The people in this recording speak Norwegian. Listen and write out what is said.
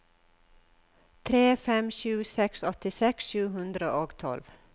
tre fem sju seks åttiseks sju hundre og tolv